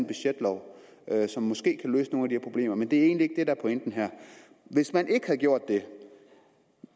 budgetlov som måske kan løse nogle af de problemer men det er egentlig ikke er pointen her hvis man ikke havde gjort det